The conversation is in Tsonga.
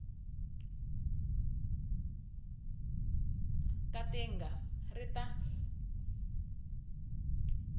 ka ti nga ri ta